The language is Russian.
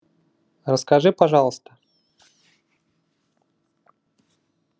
расскажи пожалуйста